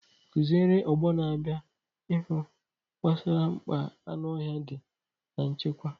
Kụziere ọgbọ na-abịa n’ihu gbasara mkpa anụ ọhịa dị na nchekwa.